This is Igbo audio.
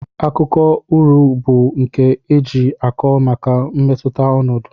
Akụkọ uri bu nke eji akọ maka mmetụta ọnọdụ.